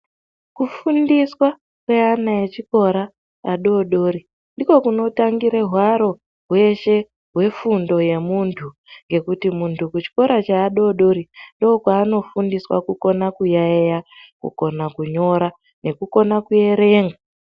Kufundiswa kwevana vechikora vadoodori ndiko kunotangira hwaro hweshe hwefundo yemuntu ngekuti muntu kuchikora cheadoodori ndoo kwaanofundiswa kugona kuyayiya, kugona kunyora nekugona kuerenga.